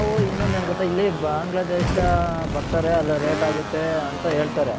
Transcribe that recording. ನಾವು ಇನ್ನೊಂದು ಏನ್ ಗೊತ್ತ ಇಲ್ಲಿ ಬಾಂಗ್ಲದೇಶ ಬರ್ತಾರೆ ಅಲ rate ಆಗುತ್ತೆ ಅಂತ ಹೇಳ್ತಾರೆ.